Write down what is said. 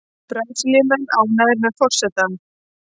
Brasilíumenn ánægðir með forsetann